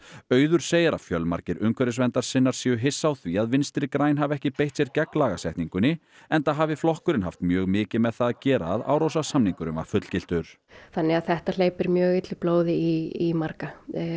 auður segir að fjölmargir umhverfisverndarsinnar séu hissa á því að Vinstri græn hafi ekki beitt sér gegn lagasetningunni enda hafi flokkurinn haft mjög mikið með það að gera að Árósasamningurinn var fullgiltur þannig að þetta hleypir mjög illu blóði í marga